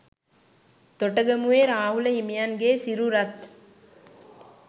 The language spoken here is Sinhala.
තොටගමුවේ රාහුල හිමියන්ගේ සිරුරත්